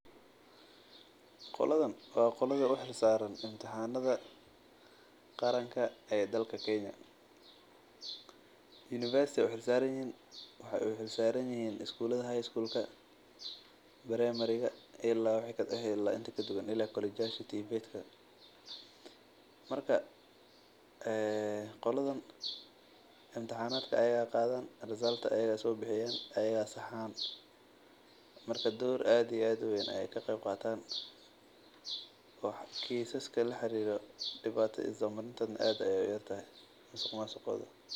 Qoldan waa kuwa u xil saaran imtixanada qaranka dowlada kenya marka qoladan imtixaanka ayaga ayaa qaadan ayaga ayaa saxaan kiiska ku sabsan is daba marinta aad ayeey uyar tahay masuqmasuqooda.